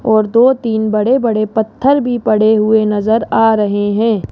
और दो तीन बड़े बड़े पत्थर भी पड़े हुए नजर आ रहे हैं।